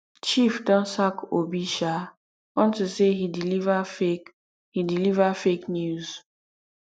chief don sack obi um unto say he deliver fake he deliver fake news